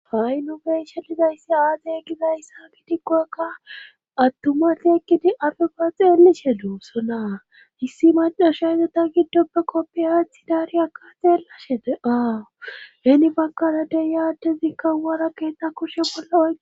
ha7i nubeshe lizayssi aazay gizayssa gidikkokka attumati ekkidi afega xeelishe lu sonaa hissi macasha ezata giddopbe koppiaathi daari akka xeellashete aawu heni bakarade ya addezikkan wara keetta kushe bollo oi.